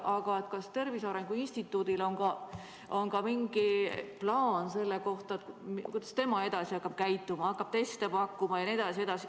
Aga kas Tervise Arengu Instituudil on ka mingi plaan selle kohta, kuidas tema hakkab edaspidi käituma, kas hakkab teste pakkuma jne?